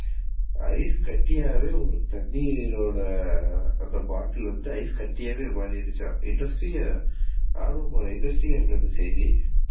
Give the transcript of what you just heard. ஐஸ்கட்டியாவே ஒரு தண்ணியோட அந்த bottle வந்து ஐஸ்காட்டியாவே மாறிருச்சா. Interesting ஆ interesting ஆ இருக்குல இந்த செய்தி